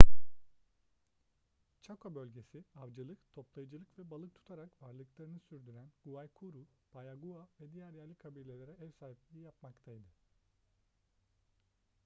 chaco bölgesi avcılık toplayıcılık ve balık tutarak varlıklarını sürdüren guaycurú payaguá ve diğer yerli kabilelere ev sahipliği yapmaktaydı